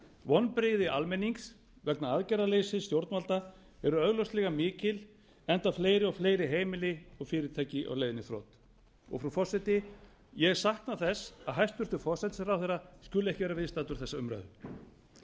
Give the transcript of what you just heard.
vonbrigði almenning vegna aðgerðaleysis stjórnvalda eru augljóslega mikil enda fleiri og fleiri heimili og fyrirtæki á leiðinni í þrot frú forseti ég sakna þess að hæstvirtur forsætisráðherra skuli ekki vera viðstaddur þessa umræðu